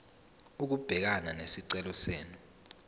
ukubhekana nesicelo senu